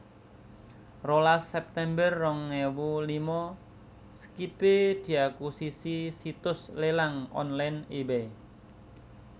Rolas september rong ewu lima Skype diakusisi situs lélang online eBay